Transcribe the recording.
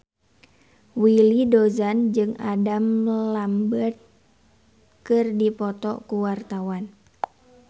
Willy Dozan jeung Adam Lambert keur dipoto ku wartawan